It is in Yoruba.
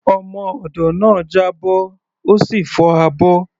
Ọmọ odó náà já bọ́, ó sì fọ́ abọ́.